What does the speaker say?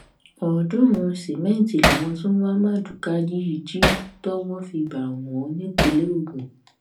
ọ̀ọ́dúnrún sìmẹǹtì làwọn tó ń wá mádùúká yìí jí tọ́wọ́ fi bà wọ́n nípìnínlẹ̀ ògùn